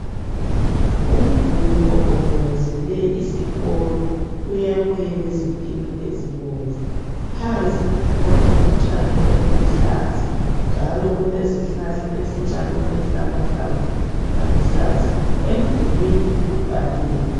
Umduli ogombolozele isikolo uyakhwe ngezintina ezibomvu phansi kukhona utshani obuluhlaza njalo kulezihlahla ezincane ezilamahlamvu aluhlaza emdulwini kubhaliwe